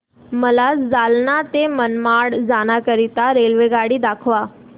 मला जालना ते मनमाड जाण्याकरीता रेल्वेगाडी दाखवा